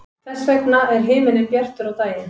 þess vegna er himinninn bjartur á daginn